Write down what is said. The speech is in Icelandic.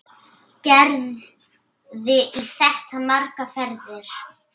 Gerði í þetta margar ferðir.